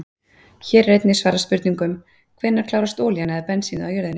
Hér er einnig svarað spurningum: Hvenær klárast olían eða bensínið á jörðinni?